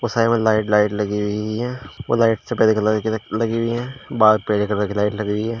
Light light लगी हुई हुई है और लाइट सफेद कलर की लगी हुई हैं बाहर पीले कलर की लाइट लग हुई है।